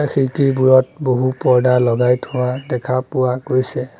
এই খিৰিকীবোৰত বহু পৰ্দা লগাই থোৱা দেখা পোৱা গৈছে।